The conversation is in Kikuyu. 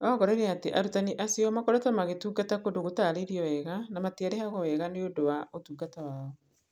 Aongereire atĩ arutani acio makoretwo magĩtungata kũndũ gũtaarĩirio wega na matiarĩhagwo wega nĩ ũndũ wa ũtungata wao.